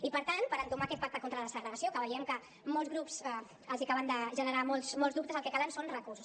i per tant per entomar aquest pacte contra la segregació que veiem que a molts grups els acaben de generar molts molts dubtes el que calen són recursos